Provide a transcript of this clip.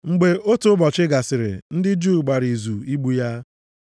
Mgbe ọtụtụ ụbọchị gasịrị ndị Juu gbara izu igbu ya.